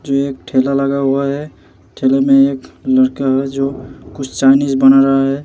जो एक ठेला लगा हुआ है ठेले में एक लड़का है जो कुछ चायनीज बना रहा है।